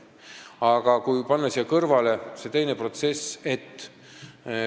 Aga paneme siia kõrvale teise protsessi.